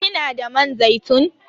Kina da man zaitun?